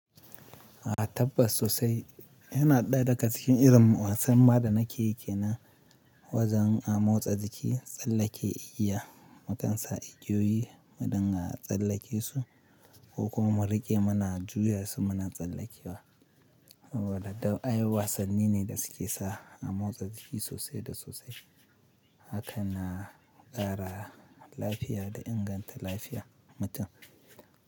A tabbas sosai. Yana ɗaya daga cikin irin wasan ma da nake yi ke nan wajen a motsa jiki, tsallake igiya, mu kan sa igiyoyi, mudinga tsallake su, ko kuma mu riƙe muna juya su muna tsallakewa. Waɗannan ayyukan wasanni ne da suke sa, a motsa jiki sosai da sosai. Haka na ƙara lafiya da inganta lafiyar mutum.